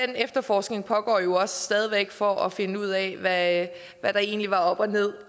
den efterforskning pågår jo også stadig væk for at finde ud af hvad der egentlig var op og ned